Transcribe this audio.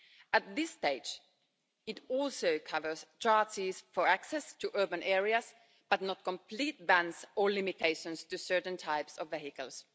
At this stage it also covers charges for access to urban areas, but not complete bans or limitations to certain types of vehicles.